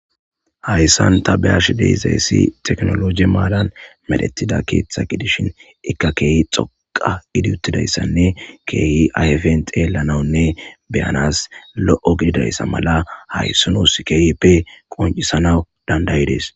hayssan ta be ash dezayssi teknoloje maadan madhetida keeththa gidishin ikka keeyi xoqa gidi uttidayssanne keeyi ayfent eelanawunne beyanas lo7o gididayssa mala hayssunus keeyi pe qoncisanaw dandayides